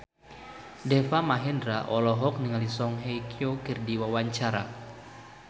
Deva Mahendra olohok ningali Song Hye Kyo keur diwawancara